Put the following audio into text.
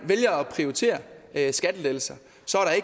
vælger at prioritere skattelettelser